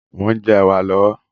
Mo ń jẹ́ ẹ̀wà lọ́wọ́